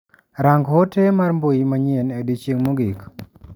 Rangi ote mar mbui manyien e odichieng' mogik.